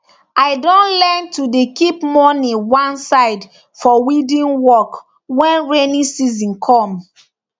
i don learn to dey keep money one side for weeding work when rainy season come